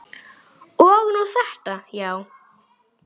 Og nú þetta, já.